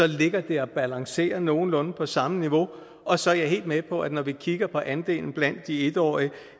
ligger den og balancerer på nogenlunde samme niveau og så er jeg helt med på at når vi kigger på andelen blandt de en årige